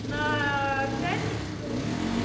на пятницу